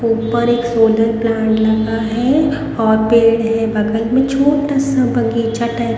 ऊपर एक solar plant लगा है और पेड़ है बगल में छोटा सा बगीचा टाइप --